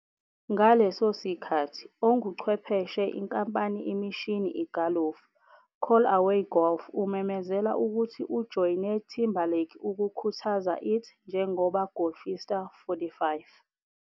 Ngaleso sikhathi, onguchwepheshe inkampani imishini igalofu, Callaway Golf umemezela ukuthi ujoyine Timberlake ukukhuthaza it njengoba golfista.45